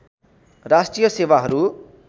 राष्ट्रिय सेवाहरू